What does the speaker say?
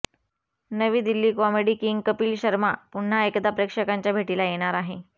नवी Delhi comedy king Kapil Sharma पुन्हा एकदा प्रेक्षकांच्या भेटीला येणार आहे